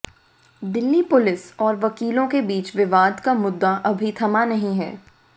Delhi police और वकीलों के बीच विवाद का मुद्दा अभी थमा नहीं है